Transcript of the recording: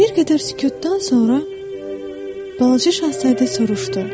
Bir qədər sükutdan sonra balaca şahzadə soruşdu: